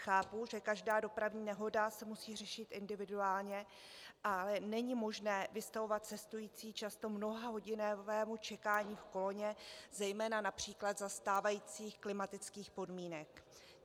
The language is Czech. Chápu, že každá dopravní nehoda se musí řešit individuálně, ale není možné vystavovat cestující často mnohahodinovému čekání v koloně, zejména například za stávajících klimatických podmínek.